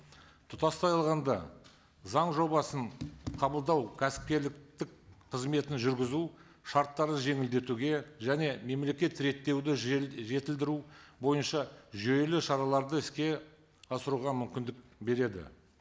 тұтастай алғанда заң жобасын қабылдау кәсіпкерлік қызметін жүргізу шарттарын жеңілдетуге және мемлекет реттеуді жетілдіру бойынша жүйелі шараларды іске асыруға мүмкіндік береді